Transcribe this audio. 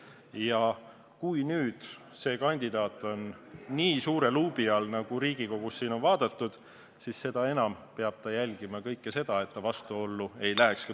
Ja nüüd, kui see kandidaat on nii suure luubi all, nagu Riigikogus on teda vaadatud, siis seda enam peab ta jälgima, et ta tulevikus millegagi vastuollu ei läheks.